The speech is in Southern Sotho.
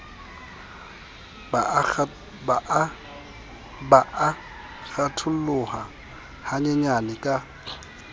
ba a kgatholoha hanyenyane ka